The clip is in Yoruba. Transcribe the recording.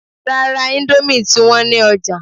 Rárá, íńdómì ti wọ́n ní ọjà